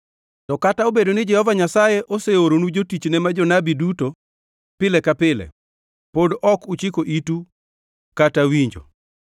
To kata obedo ni Jehova Nyasaye oseoronu jotichne ma jonabi duto pile ka pile, pod ok uchiko itu kata winjo.